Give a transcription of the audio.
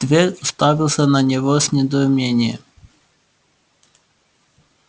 твер уставился на него с недоумением